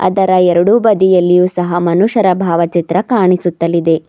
ಅದರ ಎರಡು ಬದಿಯಲ್ಲಿಯೂ ಸಹ ಮನುಷ್ಯರ ಭಾವಚಿತ್ರ ಕಾಣಿಸುತ್ತಲಿದೆ